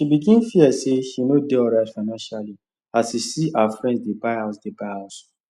she begin fear say she no dey alright financially as she see her friends dey buy house dey buy house